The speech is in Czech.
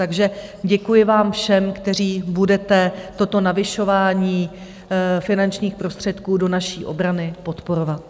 Takže děkuji vám všem, kteří budete toto navyšování finančních prostředků do naší obrany podporovat.